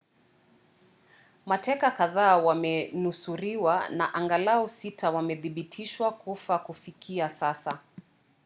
mateka kadhaa wamenusuriwa na angalau sita wamethibitishwa kufa kufikia sasa